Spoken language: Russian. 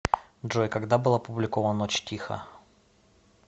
джой когда был опубликован ночь тиха